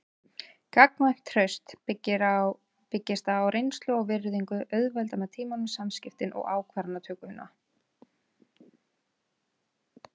Gagnkvæmt traust sem byggist á reynslu og virðingu auðveldar með tímanum samskiptin og ákvarðanatökuna.